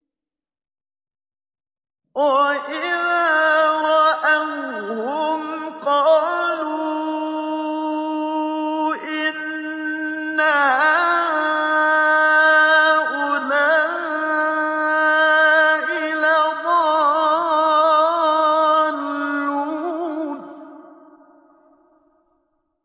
وَإِذَا رَأَوْهُمْ قَالُوا إِنَّ هَٰؤُلَاءِ لَضَالُّونَ